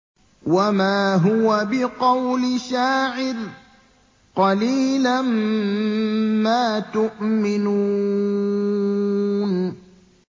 وَمَا هُوَ بِقَوْلِ شَاعِرٍ ۚ قَلِيلًا مَّا تُؤْمِنُونَ